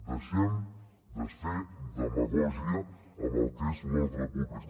deixem de fer demagògia amb el que és l’ordre públic